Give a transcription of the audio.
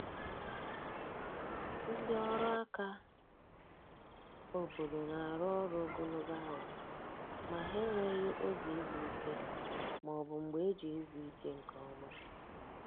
Ndị ọrụ aka obodo na-arụ ọrụ ogologo awa, ma ha enweghi oge izu ike ma ọ bụ mgbe eji ezu ike nke ọma